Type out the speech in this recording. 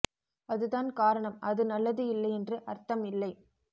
அது தான் காரணம் அது நல்லது இல்லை என்று அர்த்தம் இல்லை